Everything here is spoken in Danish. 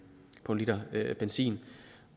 på en liter benzin